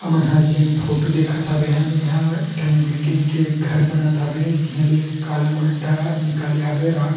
हमन हा जेन फोटो दिखत हबे बिहान ह एक ठन बिल्डिंग के घर बनत हवे जेमे कॉलम गड्ढा निकाले हवे रॉड --